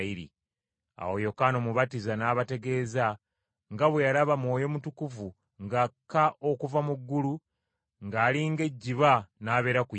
Awo Yokaana Omubatiza n’abategeeza nga bwe yalaba Mwoyo Mutukuvu ng’akka okuva mu ggulu ng’ali ng’ejjiba n’abeera ku Yesu,